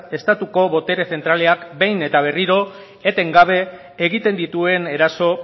estatuko botere zentralak behin eta berriro eten gabe egiten dituen eraso